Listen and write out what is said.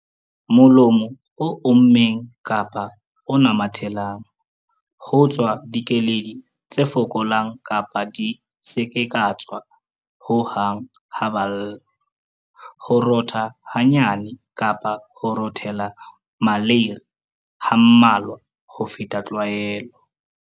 Molomo o ommeng kapa o namathelang. Ho tswa dikeledi tse fokolang kapa di se ke tsa tswa ho hang ha ba lla. Ho rota hanyane kapa ho rotela maleiri ha mmalwa ho feta tlwaelo.